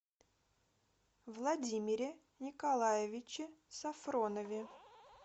владимире николаевиче сафронове